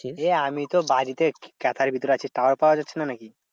এই আমিতো বাড়িতে ক্যাথার ভিতরে আছি। tower পাওয়া যাচ্ছে না নাকি?